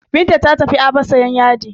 Binta ta tafi Aba sayan yadi.